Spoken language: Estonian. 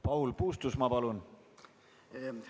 Paul Puustusmaa, palun!